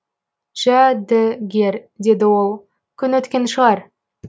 жә ді гер деді ол күн өткен шығар